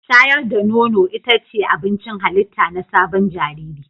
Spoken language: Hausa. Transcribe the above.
Shayar da nono ita ce abincin halitta na sabon jariri